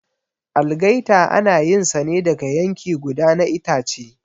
Algaita ana yin sa ne daga yanki guda na itace.